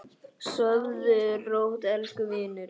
Sofðu rótt, elsku vinur.